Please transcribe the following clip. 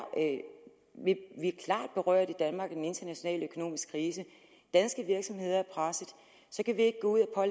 berørt af den internationale økonomiske krise og danske virksomheder er pressede kan vi ikke gå ud og